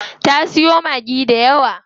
Ta siyo Maggi dayawa.